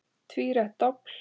Tvírætt dobl.